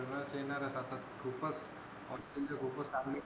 जवळच येणार आता आपण खूपच ऑस्ट्रेलिया सोबत आपली